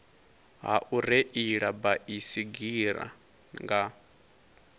ha u reila baisigila nga